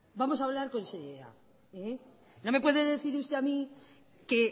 vamos a hablar con seriedad no me puede decir usted a mí que